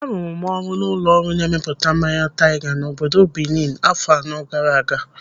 Arụrụ m ọrụ n'ụlọ ọrụ na-emepụta mmanya taiga n'obodo Bini afọ anọ gaara aga.